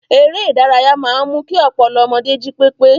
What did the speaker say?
Eré-ìdárayá máa ń mú kí ọpọlọ ọmọdé jí pépé.